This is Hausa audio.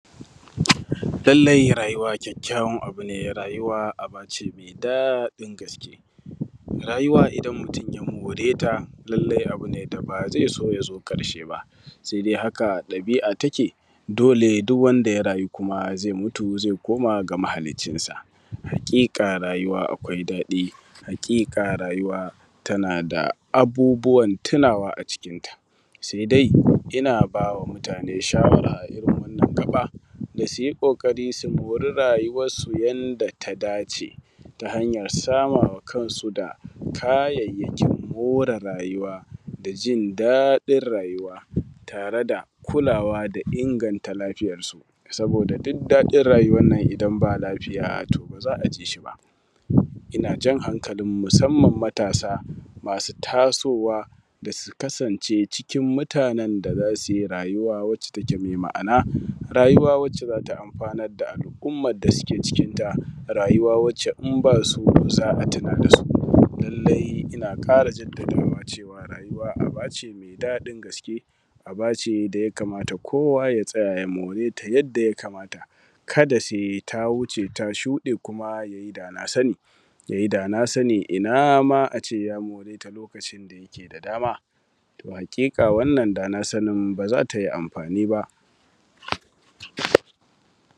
Lallai rayuwa kyakyakyawan abu ne. Rayuwa abu ne mai daɗin gaske. Rayuwa idan mutum ya mo:reta, lallai abu ne da ba za su ya zo ƙarshe ba sai dai haka ɗabi’a take. Dole, duk kwanda ya rayu, zai mutu ya koma ga mahaliccinsa. Haƙiƙa, rayuwa akwai daɗi. Haƙiƙa, rayuwa tana da abubbuwan tunawa a cikinta. Sai dai ina bawa mutane shawara a wannan gaɓa, da su yi ƙoƙari, su yi rayuwansu yadda ta dace, ta hanyar samuwar kayayakin more rayuwa da jin daɗin rayuwa tare da kulawa da inganta lafiyarsu. Saboda dukkan daɗin rayuwannan, idan ba lafiya to ba za a ji shi ba. Ina jan hanƙalinmu, musamman matasa masu tasowa, da su kasance cikin mutanen da za su rayu rayuwa mai ma’ana rayuwa da za ta amfanar da al’ummar da su ke cikinta, rayuwa da in ba su za a tuna da su. Lallai, ina ƙara jaddadawa cewa rayuwa abu ne mai daɗin gaske aba ce da yakamata kuwa ta tsaya, ya mura yadda ya kamata. Ka da sai ta wuce ta shuɗe, kuma ya yi dana sani. Ina ma a ce ya more ta lokacin da yake da dama. To, haƙiƙa, wannan dana sani ba za ta yi amfani ba